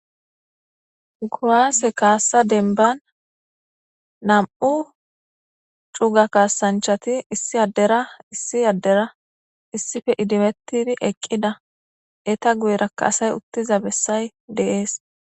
Kuwase kassa dembban nam'u cuuga kasanchati issi adera issi adera issippe idimetidi eqqida eta guyeraka asay uttiza bessay de7es.